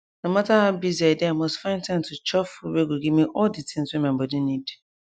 no matter how busy i dey i mus find time to chop food wey go give me all de tins wey my body need